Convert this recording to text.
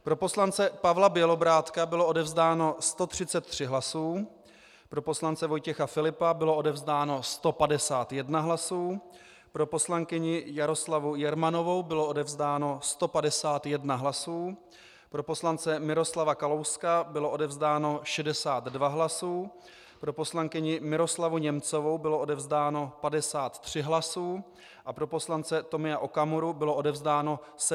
Pro poslance Pavla Bělobrádka bylo odevzdáno 133 hlasů, pro poslance Vojtěcha Filipa bylo odevzdáno 151 hlasů, pro poslankyni Jaroslavu Jermanovou bylo odevzdáno 151 hlasů, pro poslance Miroslava Kalouska bylo odevzdáno 62 hlasů, pro poslankyni Miroslavu Němcovou bylo odevzdáno 53 hlasů a pro poslance Tomia Okamuru bylo odevzdáno 76 hlasů.